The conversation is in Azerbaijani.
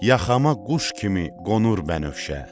Yaxama quş kimi qonur bənövşə.